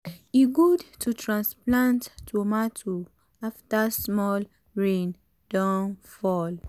e good to transplant tomato after small rain don fall.